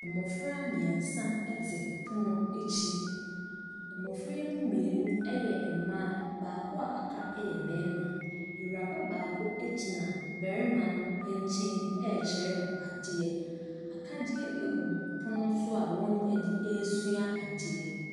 Mmɔfra mmiɛnsa te pono akyi, mmɔfra yi mmienu yɛ mmaa, baako a aka yɛ barima. Awuraba baako gyina barima no nkyɛn mu ɛrekyerɛ no adeɛ, akadeɛ gugu pono ne so a wɔde ɛresua adeɛ.